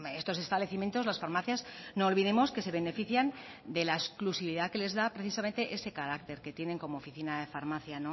estos establecimientos las farmacias no olvidemos que se benefician de la exclusividad que les da precisamente ese carácter que tienen como oficina de farmacia